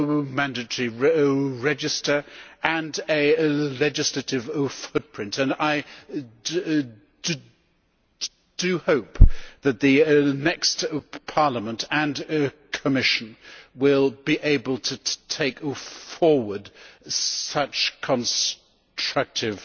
mandatory register and a legislative footprint, and I do hope that the next Parliament and Commission will be able to take forward such constructive